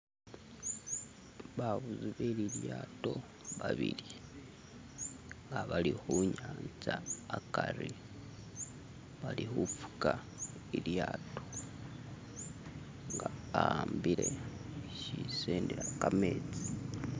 babubi belilyato babili nga bali hunyanza akari bali hufuka ilyato nga ambile shisindiha kametsi